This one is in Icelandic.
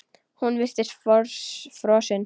Hún virtist frosin.